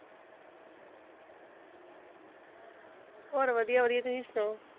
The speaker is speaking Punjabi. ਹੋਰ ਵਧੀਆ ਵਧੀਆ ਤੁਸੀਂ ਸੁਣਾਓ?